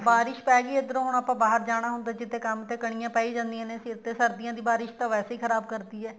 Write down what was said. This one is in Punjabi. ਬਾਰਿਸ਼ ਪੈ ਗਈ ਇੱਧਰੋਂ ਆਪਾਂ ਬਾਹਰ ਜਾਣਾ ਹੁੰਦਾ ਕੰਮ ਤੇ ਕਣੀਆ ਪੈ ਹੀ ਜਾਂਦੀਆਂ ਨੇ ਸਿਰ ਤੇ ਸਰਦੀਆਂ ਦੀ ਬਾਰਿਸ਼ ਤਾਂ ਵੈਸੇ ਹੀ ਖ਼ਰਾਬ ਕਰਦੀ ਹੈ